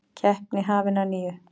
Keppni hafin að nýju